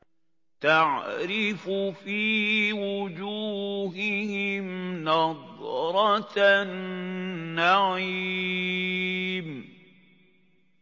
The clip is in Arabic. تَعْرِفُ فِي وُجُوهِهِمْ نَضْرَةَ النَّعِيمِ